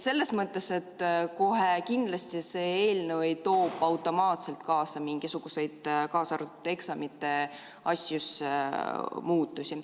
Selles mõttes, et kohe kindlasti see eelnõu ei too automaatselt kaasa mingisuguseid, kaasa arvatud eksamite asjus, muutusi.